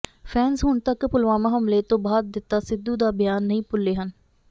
fans ਹੁਣ ਤੱਕ ਪੁਲਵਾਮਾ ਹਮਲੇ ਤੋਂ ਬਾਅਦ ਦਿੱਤਾ ਸਿੱਧੂ ਦਾ ਬਿਆਨ ਨਹੀਂ ਭੁੱਲੇ ਹਨ